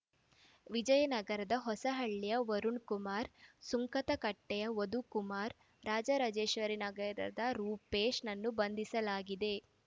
ವಿಜಯನಗರದ ಹೊಸಹಳ್ಳಿಯ ವರುಣ್ ಕುಮಾರ್ ಸುಂಕದಕಟ್ಟೆಯ ಮಧುಕುಮಾರ್ ರಾಜರಾಜೇಶ್ವರಿ ನಗರದ ರೂಪೇಶ್ ನನ್ನು ಬಂಧಿಸಲಾಗಿದೆ